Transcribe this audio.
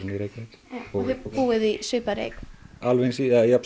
í Reykjavík og þið búið í svipaðri eign alveg eins